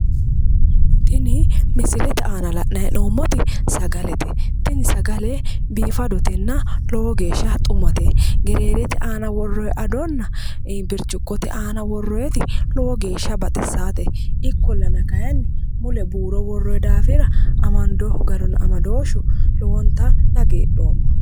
Tini misilete aana la'nayi hee'noommoti sagalete. Tini sagale biifadotenna lowo geeshsha xumate. Gereerete aana woorroyi adonna birciqote aana woorroyiti lowo geeshsha baxissaate. Ikkollana kayinni mule buuro wooroyi daafira amandoyihu garunna amadooshshu lowonta dihagiidhooma.